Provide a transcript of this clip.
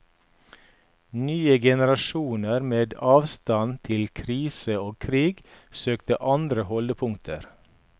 Nye generasjoner med avstand til krise og krig søkte andre holdepunkter.